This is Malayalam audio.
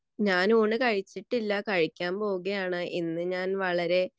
ഞാൻ ഊണ് കഴിച്ചിട്ടില്ല കഴിക്കാൻ പോവുകയാണ് ഇന്ന് ഞാൻ വളരെ